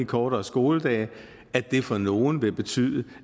kortere skoledage for nogle vil betyde